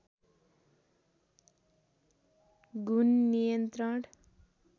घुन नियन्त्रण